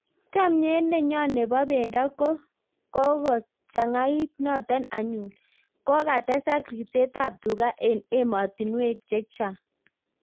Chamyet nenyo nebo bendo ko kagochangait notok anyun kagotesak ripset ap tuga eng ematinwek cechang